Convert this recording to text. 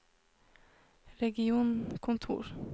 regionkontor